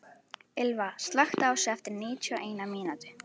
Ylva, slökktu á þessu eftir níutíu og eina mínútur.